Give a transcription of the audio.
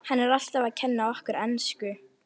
Hann er alltaf að kenna okkur ensku!